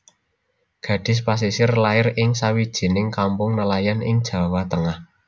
Gadis Pasisir lair ing sawijining kampung nelayan ing Jawa Tengah